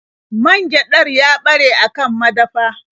Man gyaɗar ya ɓare a kan madafa.